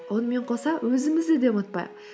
онымен қоса өзімізді де ұмытпайық